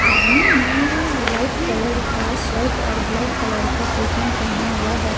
आदमी ने white colour का सर्ट और ब्लैक कलर का फुल पैंट पहना हुआ है।